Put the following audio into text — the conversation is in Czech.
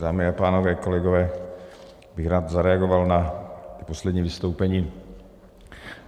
Dámy a pánové, kolegové, rád bych zareagoval na poslední vystoupení.